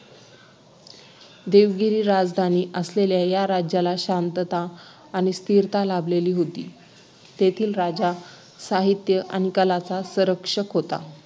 देवगिरी राजधानी असलेल्या या राज्याला शांतता आणि स्थिरता लाभलेला होती तेथील राजा साहित्य आणि कलांचा संरक्षक होता